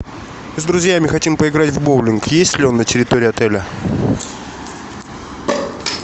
с друзьями хотим поиграть в боулинг есть ли он на территории отеля